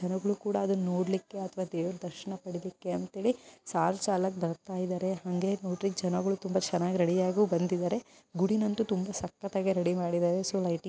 ನನಗೂ ಕೂಡ ನೋಡ್ಲಿಕ್ಕೆ ಅಥವಾ ದೇವರ ದರ್ಶನ ಪಡೆದುಕ್ಕೆ ಅಂತ ಹೇಳಿ ಸಾರ್ ಚಾಲಕ ಬರ್ತಾ ಇದ್ದಾರೆ. ಹಂಗೇ ನೋಡಿ ಜನಗಳು ತುಂಬಾ ಚೆನ್ನಾಗಿ ರೆಡಿ ಯಾಗಿ ಬಂದಿದ್ದಾರೆ. ಗುಡ್ ಇನ್ನೊಂದು ದಿವಸ ಕತೆ ರೆಡಿ ಮಾಡಿದ್ದಾರೆ ಸೊ ಲೈಟಿಂಗ್ --